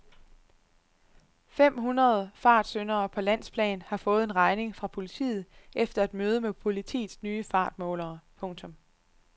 Fem hundrede fartsyndere på landsplan har fået en regning fra politiet efter et møde med politiets nye fartmålere. punktum